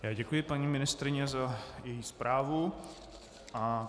Děkuji paní ministryni za její zprávu.